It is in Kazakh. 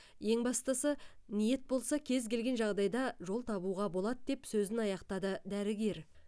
ең бастысы ниет болса кез келген жағдайда жол табуға болады деп сөзін аяқтады дәрігер